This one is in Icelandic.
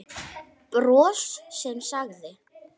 Bros sem sagði